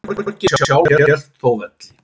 Borgin sjálf hélt þó velli.